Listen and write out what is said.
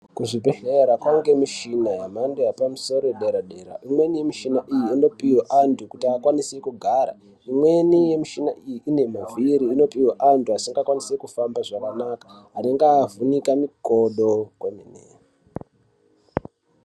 Kuzvibhedhlera kwaange mishina yemhando yepamusoro yedera dera imweni yemishina iyi inopihwa anthu kuti akwanise kugara imweni yemishina iyi ine mavhiri inopohwe anthu asingakwanisi kufamba zvakanaka anenga avhunika mikodo kwemene.